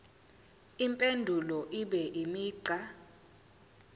impendulo ibe imigqa